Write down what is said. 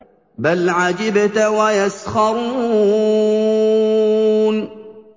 بَلْ عَجِبْتَ وَيَسْخَرُونَ